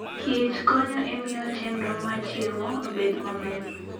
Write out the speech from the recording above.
Kich konyo e miyo chenro mar chiemo obed maber.